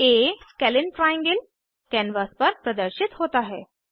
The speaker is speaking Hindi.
आ स्केलीन ट्रायंगल कैनवास पर प्रदर्शित होता है